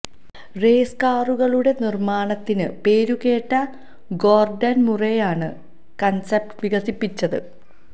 raise കാറുകളുടെ നിർമാണത്തിന് പേരുകേട്ട ഗോർഡൻ മുരെയാണ് കൺസ്പെറ്റ് വികസിപ്പിച്ചത്